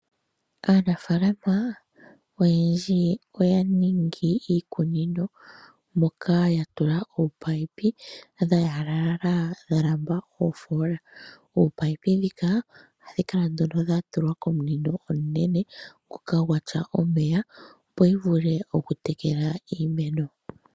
Aanafaalama oyendji oya ningi iikunino moka ya tula oopaipi dha yalalala dha lamba oofola, oopaipi ndhika ohadhi kala nduno dha tulwa komunino omunene ngoka gwatya omeya opo dhi vule okutekela iimeno.